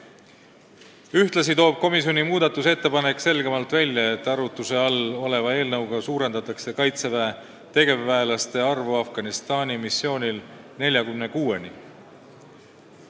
Ühtlasi toob komisjoni muudatusettepanek selgemalt välja, et arutluse all oleva eelnõuga suurendatakse Kaitseväe tegevväelaste arvu Afganistani missioonil 46-ni.